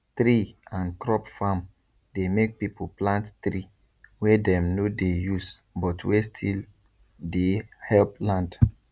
tree and crop farm dey make people plant tree wey dem no dey use but wey still dey help land